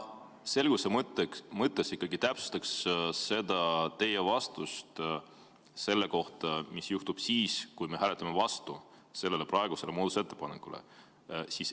Ma selguse mõttes ikkagi täpsustaksin teie vastust selle kohta, mis juhtub siis, kui me hääletame praeguse muudatusettepaneku vastu.